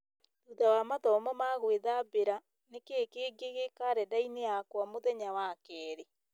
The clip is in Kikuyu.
thutha wa mathomo ma gwĩthambĩra nĩkĩĩ kĩngĩ gĩ karenda-inĩ yakwa mũthenya wa kerĩ